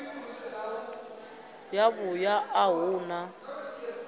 ya vhuṋa a hu na